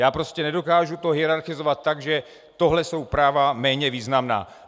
Já prostě nedokážu to hierarchizovat tak, že tohle jsou práva méně významná.